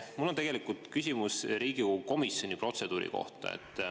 Mul on tegelikult küsimus Riigikogu komisjoni protseduuri kohta.